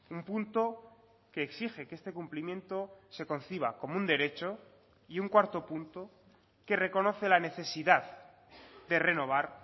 un punto que exige que este cumplimiento se conciba como un derecho y un cuarto punto que reconoce la necesidad de renovar